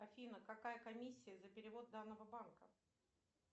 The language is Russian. афина какая комиссия за перевод данного банка